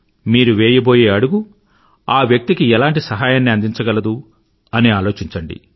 మీరు వేయబోయే అడుగు ఆ వ్యక్తికి ఎలాంటి సహాయాన్ని అందించగలదు అని ఆలోచించండి